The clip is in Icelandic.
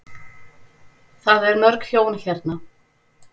Það er mörg hjón hérna.